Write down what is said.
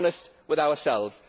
Let us be honest with ourselves.